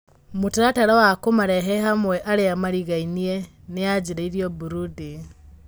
Mũtaratara wa kũmarehe hamwe arĩa marigainie nĩyanjĩrĩirio Burudi.